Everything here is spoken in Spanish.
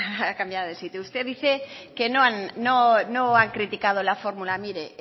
ha cambiado de sitio usted dice que no ha criticado la fórmula mire